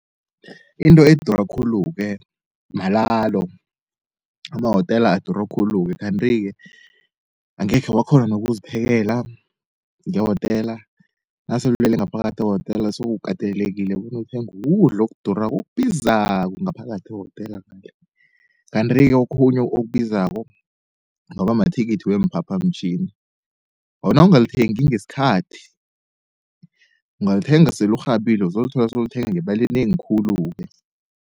Into edura khulu-ke malalo amahotela adura khulu-ke. Kanti-ke angekhe wakghona nokuziphekela ngehotela, nasele ulele ngaphakathi ehotela sewukatelelekile bona uthenge ukudla okudurako, okubizako ngaphakathi ehotela. Kanti-ke okhunye okubizako kungaba mathikithi weemphaphamtjhini, nawungalithengi ngesikhathi ungalithenga sele urhabile uzolithola sowulithenga ngemali enengi khulu-ke.